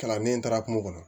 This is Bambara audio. Kalanden taara kungo kɔnɔ